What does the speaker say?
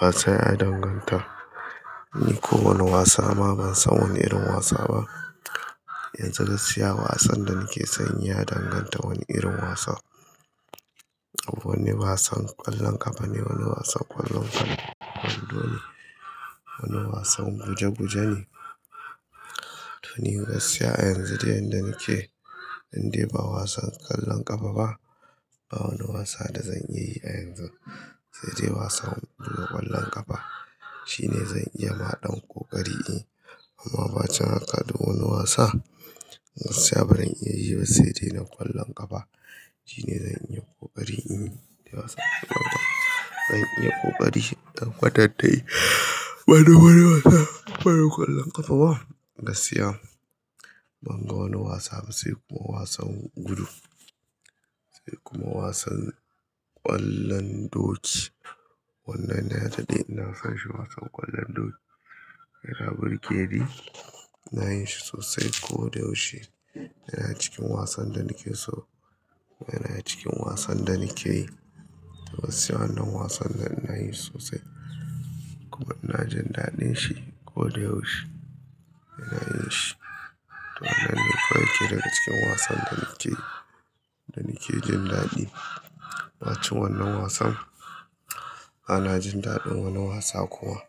Wasa ya danganta. Ni kowane wasa ma ban san wani irin wasa ba. Yanzu gaskiya wasan da nake san yi ya danganta wani irin wasa. Wani wasan ƙwallon ƙafa ne, wani wasan ƙwallon hanu, kwando ne, wani wasan guje guje ne. To ni gaskiya a yanzu dai yadda nake, in dai ba wasan ƙwallon ƙafa ba, ba wani wasa da zan iya yi a yanzu. Sai dai wasan buga ƙwallon ƙafa shine zan iya ma ɗan ƙoƙari in yi. Amma ba can haƙa da wani wasa. Gaskiya barin iya yi ba sai dai na ƙwallon ƙafa shine zan iya ƙoƙari in yi. Wasan ƙwallon ƙafa zan iya ƙoƙari in yi. Ban iya ƙoƙari in tabbayar wani wani wasa bari ƙwallon ƙafa ba. Gaskiya ban ga wani wasa ba sai kuma wasan gudu. Sai kuma wasan ƙwallon doki. Wannani na yarda dai ina son shi wasan ƙwallon doki. Yana burge ni ina yin shi sosai ko da yaushe. Yana cikin wasan da nake so. Yana cikin wasan da nake yi. To gaskiya wannan wasan nan ina yin sosai. Kuma ina jin daɗin shi ko da yaushe. Ina yin shi. To wannan ne kawai yake daga cikin wasan da nake, da nake jin daɗi. Ba cin wannan wasan bana jin daɗin wani wasa kuma.